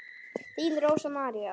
Þín Rósa María.